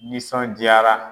Nisɔn diyara.